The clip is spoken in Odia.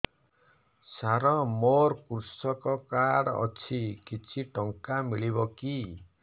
ସାର ମୋର୍ କୃଷକ କାର୍ଡ ଅଛି କିଛି ଟଙ୍କା ମିଳିବ କି